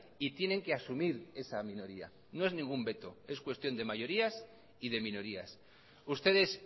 y tienen que asumir esa minoría no es ningún veto es cuestión de mayorías y de minorías ustedes